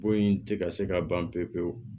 Bon in tɛ ka se ka ban pewu pewu